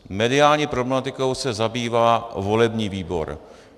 Mediální problematikou se zabývá volební výbor.